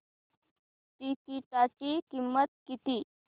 तिकीटाची किंमत किती